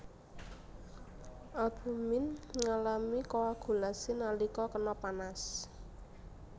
Albumin ngalami koagulasi nalika kena panas